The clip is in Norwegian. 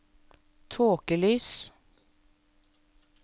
tåkelys